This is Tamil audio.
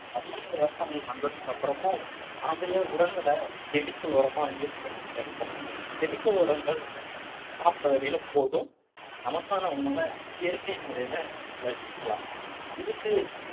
நவீன விவசாயம் வந்ததுக்கு அப்புறமும் நாம ஏன் உரங்களை chemical உரமா use பண்ணிக்கிட்டே இருக்கோம் chemical உரங்கள் சாப்பிட்ட வரையிலும் போதும் நமக்கான உணவ இயற்கை முறையில விளைச்சுக்கலாம் இதுக்கு